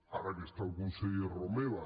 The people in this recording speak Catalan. ara que està el conseller romeva